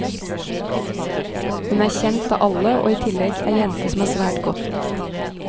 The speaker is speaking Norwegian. Hun er kjent av alle og i tillegg ei jente som er svært godt likt.